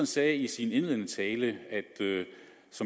sagde i sin indledende tale